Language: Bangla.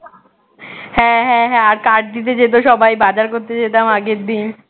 হ্যাঁ হ্যাঁ হ্যাঁ আর card দিতে যেত সবাই বাজার করতে যেতাম আগের দিন